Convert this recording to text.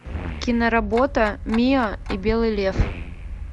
киноработа миа и белый лев